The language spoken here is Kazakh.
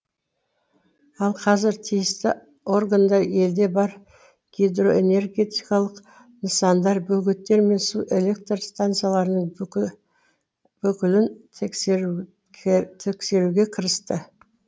ал қазір тиісті органдар елде бар гидроэнергетикалық нысандар бөгеттер мен су электр станцияларының бүкілін тексеруге кірісті